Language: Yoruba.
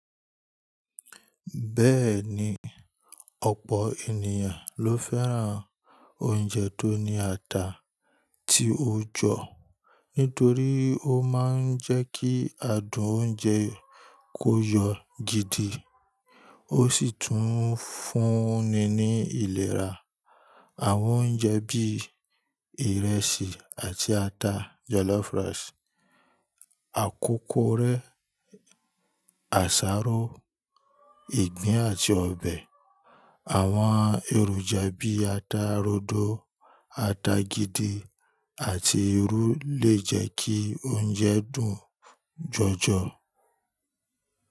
Bẹ́ẹ̀ni, ọ̀pọ̀ ènìyàn ló fẹ́ràn oúnjẹ tó ní ata tí ó jọ nítorí ó máa ń jẹ́ kí adùn oúnjẹ kó yọ gidi ó sì tún fúnni ní ìlera. Àwọn oúnjẹ bí ìrẹsì àti ata jọlọ́f rice, àkókó rẹ, àsáró, ìgbín àti ọbẹ̀. Àwọn èròjà bí ata rodo, ata gidi àti irú lè jẹ́ kí oúnjẹ dùn jọjọ.